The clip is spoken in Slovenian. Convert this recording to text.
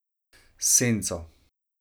S senco.